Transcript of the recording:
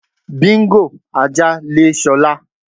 Bingo (ajá), le S̩o̩lá.